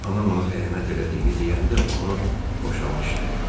anan ona xəyanət elədiyini deyəndə onu boşadı.